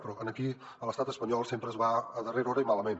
però aquí a l’estat espanyol sempre es va a darrera hora i malament